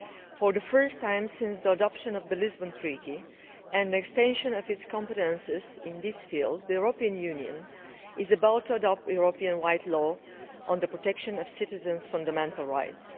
For the first time since the adoption of the Lisbon Treaty and the extension of its competences in this field, the European Union is about to adopt a Europe wide law on the protection of citizens' fundamental rights.